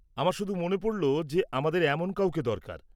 আমার শুধু মনে পড়ল যে আমাদের এমন কাউকে দরকার।